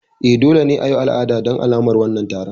E, dole ne a yi al'ada don alamar wannan taron.